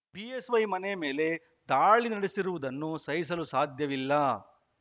BSY ಮನೆ ಮೇಲೆ ದಾಳಿ ನಡೆಸಿರುವುದನ್ನು ಸಹಿಸಲು ಸಾಧ್ಯವಿಲ್ಲ